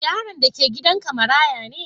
Yaron da ke gidan ka maraya ne?